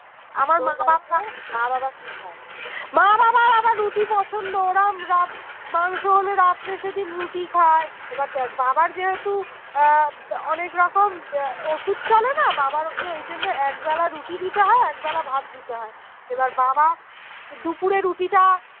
মাংস হলে রাত্রে সেইদিন রুটি খাই এবার দেখ বাবা যেহেতু আহ অনেক রকম ওষুধ চলে না বাবার ওকে ওই জন্যে এক বেলা রুটি দিতে দিতে হয় এক বেলা ভাত দিতে হয়ে এবার বাবা দুপুরে রুটিটা